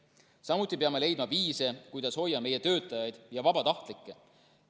Samuti peame leidma viise, kuidas hoida meie töötajaid ja vabatahtlikke.